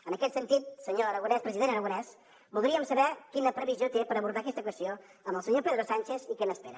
en aquest sentit senyor aragonès president aragonès voldríem saber quina previsió té per abordar aquesta qüestió amb el senyor pedro sánchez i què n’espera